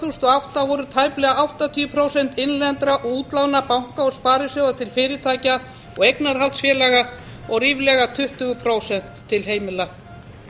og átta voru tæplega áttatíu prósent innlendra útlána banka og sparisjóða til fyrirtækja og eignarhaldsfélaga og ríflega tuttugu prósent til heimila